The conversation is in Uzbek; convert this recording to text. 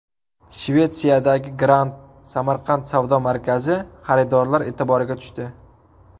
Shvetsiyadagi Grand Samarkand savdo markazi xaridorlar e’tiboriga tushdi .